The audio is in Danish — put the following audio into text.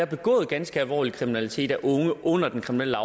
begået ganske alvorlig kriminalitet af unge under den kriminelle